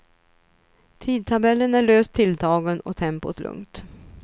Tidtabellen är löst tilltagen och tempot lugnt.